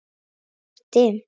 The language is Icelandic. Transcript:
Hér er dimmt.